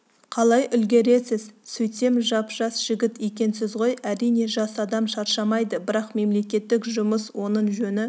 қалай үлгересіз сөйтсем жап-жас жігіт екенсіз ғой әрине жас адам шаршамайды бірақ мемлекеттік жұмыс оның жөні